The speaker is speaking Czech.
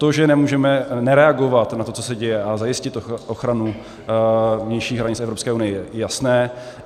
To, že nemůžeme nereagovat na to, co se děje, a zajistit ochranu vnějších hranic Evropské unie, je jasné.